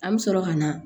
An bɛ sɔrɔ ka na